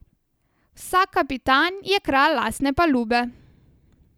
Vsak kapitan je kralj lastne palube.